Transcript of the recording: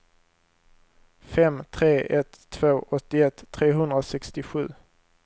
fem tre ett två åttioett trehundrasextiosju